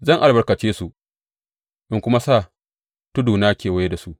Zan albarkace su in kuma sa tuduna kewaye da su.